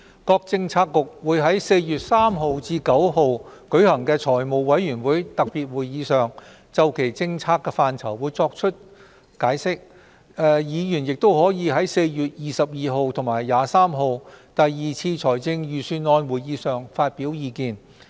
各政策局會在4月3日至9日舉行的財務委員會特別會議上，就其政策範疇作出解釋，議員亦可在4月22日及23日的第二次財政預算案會議上發表意見。